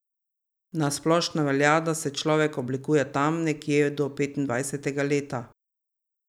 Na splošno velja, da se človek oblikuje tam nekje do petindvajsetega leta.